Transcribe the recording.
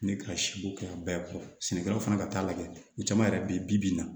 Ne ka siko kɛ a bɛɛ kɔ sɛnɛkɛlaw fana ka taa lajɛ ni caman yɛrɛ be yen bibi in na